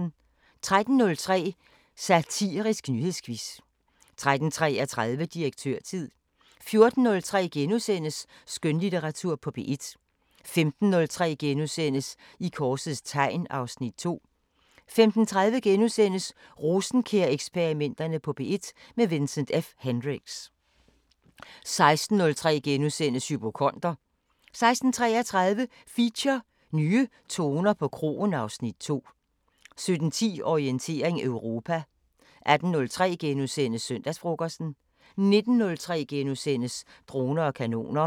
13:03: Satirisk nyhedsquiz 13:33: Direktørtid 14:03: Skønlitteratur på P1 * 15:03: I korsets tegn (Afs. 2)* 15:30: Rosenkjær-eksperimenterne på P1 – med Vincent F Hendricks * 16:03: Hypokonder * 16:33: Feature: Nye toner på kroen (Afs. 2) 17:10: Orientering Europa 18:03: Søndagsfrokosten * 19:03: Droner og kanoner *